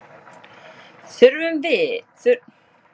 Þurfum að bæta vörnina